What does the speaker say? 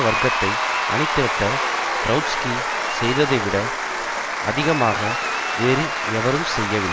வர்க்கத்தை அணிதிரட்ட ட்ரொட்ஸ்கி செய்ததைவிட அதிகமாக வேறு எவரும் செய்யவில்லை